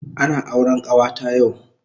Ana auren kawata yau